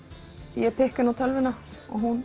ég pikka inn á tölvu og hún